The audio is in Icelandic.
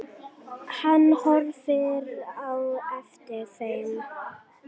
Hann horfði á eftir þeim.